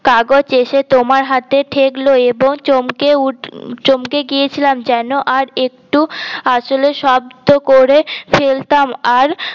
কাগজ এসে তোমার হাতে ঠেকল এবং চমকে উঠে চমকে গিয়েছিলাম যেন আর একটু আসলে শব্দ করে ফেলতাম আর